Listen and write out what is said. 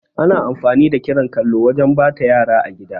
Ana amfani da kiran kallo wajan ɓata yara a gida